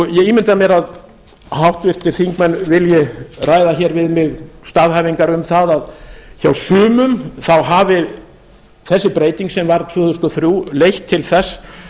ég ímynda mér að háttvirtir þingmenn vilji ræða hér við mig staðhæfingar um það að hjá sumum hafi þessi breyting sem varð tvö þúsund og þrjú leitt til þess